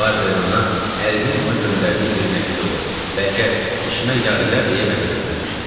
Barber ana ərinin ona göndərdiyi bir məktubu, bəlkə işimə yarıyar deyə mənə göndərmişdi.